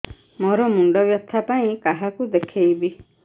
ମୋର ମୁଣ୍ଡ ବ୍ୟଥା ପାଇଁ କାହାକୁ ଦେଖେଇବି